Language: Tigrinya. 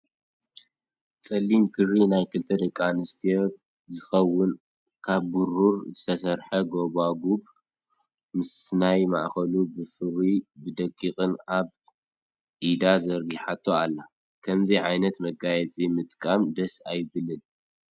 ፀሊም ክሪ ናይ ክልተ ደቂ ኣንስትዮ ዝከውን ካብ ብሩር ዝተሰርሐ ጎባጉብ ምስናይ ማእከሉ ብፍሩይን ብደቂቅን ኣብ ኣብ ኢዳ ዘርጊሓቶ ኣላ። ከምዚ ዓይነት መጋየፂ ምጥቃም ደስ ኣይብለን ።